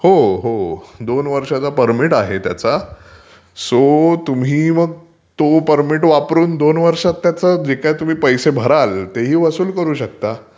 हो हो दोन वर्षाचं परमीट आहे त्याचा, सो तुम्ही तो परमीट वापरून दोन वर्षातं त्याच जे काही तुम्ही पैसे भराल ते वसूल करू शकता